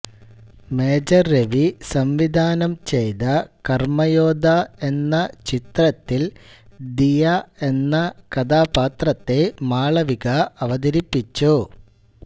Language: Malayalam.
മേജർ രവി സംവിധാനം ചെയ്താ കർമ്മയോദ്ധാ എന്ന ചിത്രത്തിൽ ദിയ എന്ന കഥാപാത്രത്തെ മാളവിക അവതരിപ്പിച്ചു